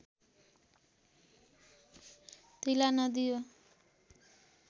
तिला नदी यो